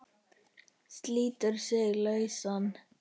Slítur sig lausan.